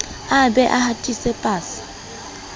a be a hatise pasa